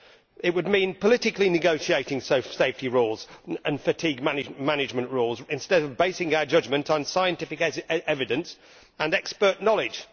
It would mean politically negotiating safety rules and fatigue management rules, instead of basing our judgment on scientific evidence and expert knowledge.